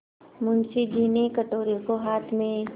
मुंशी जी ने कटोरे को हाथ में